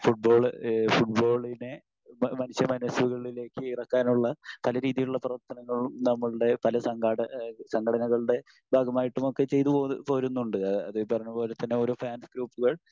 Football ഈഹ് ഫുട്ബോളിനെ മനുഷ്യ മനസ്സുകളിലേക് ഇറക്കാനുള്ള പല രീതിയിലുള്ള പ്രവർത്തനങ്ങളും നമ്മൾടെ പല സംഘാട സംഘടനകളുടെ ഭാഗമായിട്ടും ഒക്കെ ചെയ്തുപോരുന്നുണ്ട്. അതീ പറഞ്ഞപോലെതന്നെ ഓരോ ഫാൻസ്‌ ഗ്രൂപ്പുകൾ